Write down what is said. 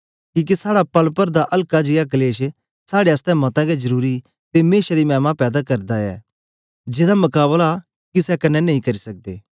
किके साड़ा पल पर दा अल्का जियां कलेश साड़े आसतै मता गै जरुरी ते मेशा दी मैमा पैदा करदा जन्दा ऐ जेदा मकाबला किसे क्न्ने नेई करी सकदे